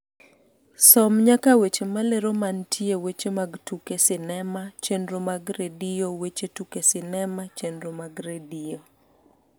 som nyaka weche malero mantie weche mag tuke sinema chenro mag redio weche tuke sinema chenro mag redio